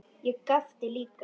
Og ég gapti líka.